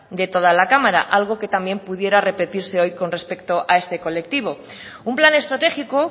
de toda la cámara algo que también pudiera repetirse hoy con respecto a este colectivo un plan estratégico